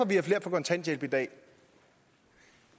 vi har flere på kontanthjælp i dag